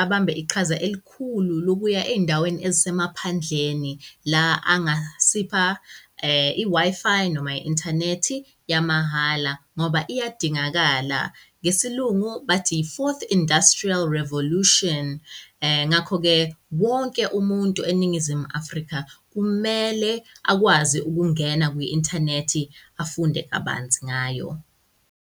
abambe iqhaza elikhulu lokuya endaweni ezisemaphandleni la angasipha i-Wi-Fi noma i-inthanethi yamahhala ngoba iyadingakala ngesiLungu bathi-iFourth Industrial Revolution. Ngakho-ke, wonke umuntu eNingizimu Afrika kumele akwazi ukungena kwi-inthanethi afunde kabanzi ngayo.